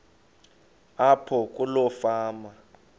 apho kuloo fama